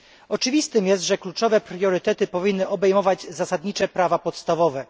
Oczywistym jest, że kluczowe priorytety powinny obejmować zasadnicze prawa podstawowe.